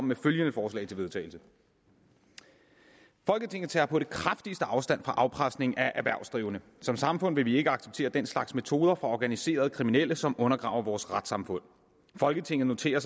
med følgende forslag til vedtagelse folketinget tager på det kraftigste afstand fra afpresning af erhvervsdrivende som samfund vil vi ikke acceptere den slags metoder fra organiserede kriminelle som undergraver vores retssamfund folketinget noterer